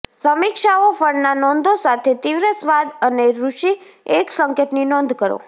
સમીક્ષાઓ ફળના નોંધો સાથે તીવ્ર સ્વાદ અને ઋષિ એક સંકેતની નોંધ કરો